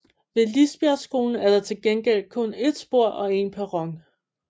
Ved Lisbjergskolen er der til gengæld kun et spor og en perron